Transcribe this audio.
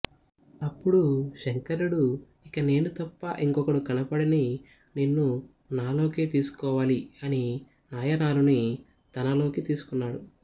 అపుడు శంకరుడు ఇకనేను తప్ప ఇంకొకడు కనపడని నిన్ను నాలోకే తీసుకోవాలి అని నాయనారుని తనలోకి తీసుకున్నాడు